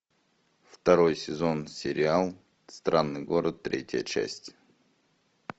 второй сезон сериал странный город третья часть